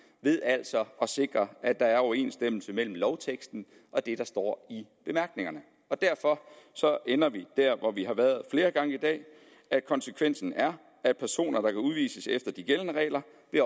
ved altså at sikre at der er overensstemmelse mellem lovteksten og det der står i bemærkningerne derfor ender vi der hvor vi har været flere gange i dag konsekvensen er at personer der kan udvises efter de gældende regler